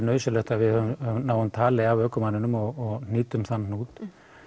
nauðsynlegt að við náum tali af ökumanninum og hnýtum þann hnút